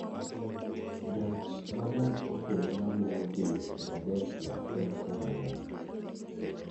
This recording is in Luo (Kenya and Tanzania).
Gach ma gach okolomaluwo dhi Filadelfia en karang'o